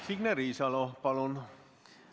Signe Riisalo, palun!